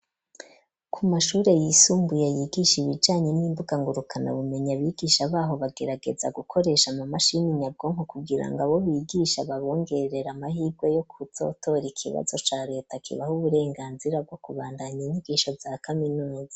Ku mashure, yisumbuye, yigisha ibijanye, n'imbuga ngurukanabumenyi; abigisha b'aho, bagerageza gukoresha, amamashini nyabwonko, kugira ngo, abo bigisha, babongerere amahirwe, yo kuzotora, ikibazo ca leta, kibaha uburenganzira, bwo kubandanya, inyigisho za kaminuza.